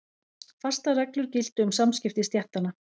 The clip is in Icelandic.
Fastar reglur giltu um samskipti stéttanna.